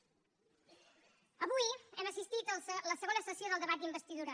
avui hem assistit a la segona sessió del debat d’investidura